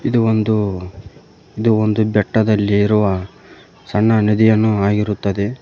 ಇದು ಒಂದು ಇದು ಒಂದು ಬೆಟ್ಟದಲ್ಲಿರುವ ಸಣ್ಣ ನದಿಯನ್ನು ಆಗಿರುತ್ತದೆ.